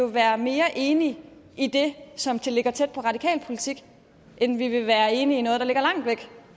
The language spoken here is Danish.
være mere enige i det som ligger tæt på radikal politik end vi vil være enige i noget der ligger langt væk